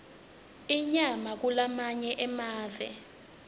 inyama kulamanye emave